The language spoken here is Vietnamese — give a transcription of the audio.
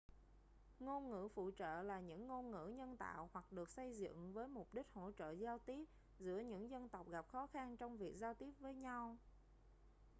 ngôn ngữ phụ trợ là những ngôn ngữ nhân tạo hoặc được xây dựng với mục đích hỗ trợ giao tiếp giữa những dân tộc gặp khó khăn trong việc giao tiếp với nhau